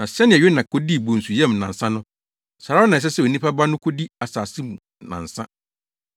Na sɛnea Yona kodii bonsu yam nnansa no, saa ara na ɛsɛ sɛ Onipa Ba no kodi asase mu nnansa.